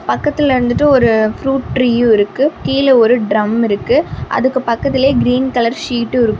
பக்கத்துல வந்துட்டு ஒரு ப்ரூட் ட்ரீயு இருக்கு கீழ ஒரு ட்ரம் இருக்கு அதுக்கு பக்கத்துல கிரீன் கலர் சீட்டு இருக்கு.